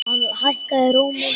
Hann hækkaði róminn.